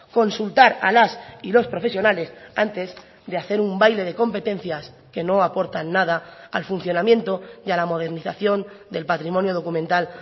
consultar a las y los profesionales antes de hacer un baile de competencias que no aportan nada al funcionamiento y a la modernización del patrimonio documental